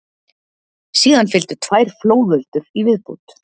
Síðan fylgdu tvær flóðöldur í viðbót.